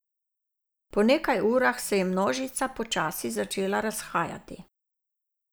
Po nekaj urah se je množica počasi začela razhajati.